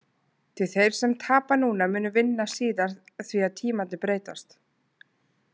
Því þeir sem tapa núna munu vinna síðar því að tímarnir breytast.